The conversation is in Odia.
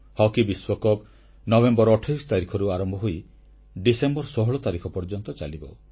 ହକି ବିଶ୍ୱକପ ନଭେମ୍ବର 28 ତାରିଖରୁ ଆରମ୍ଭ ହୋଇ ଡିସେମ୍ବର 16 ତାରିଖ ପର୍ଯ୍ୟନ୍ତ ଚାଲିବ